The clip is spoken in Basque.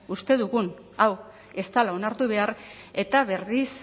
uste dugun hau ez dela onartu behar eta berriz